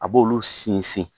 A b'olu sinsin.